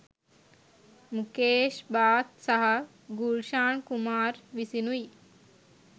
මුකේෂ් බාත් සහ ගුල්ෂාන් කුමාර් විසිනුයි.